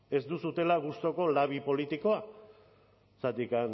ez duzuela gustuko labi politikoa zergatik